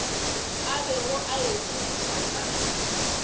a bego a ikgodiša ka